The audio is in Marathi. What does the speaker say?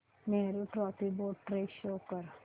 Nehru trophy boat race show कर